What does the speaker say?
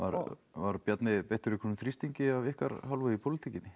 var Bjarni beittur einhverjum þrýstingi af ykkar hálfu í pólitíkinni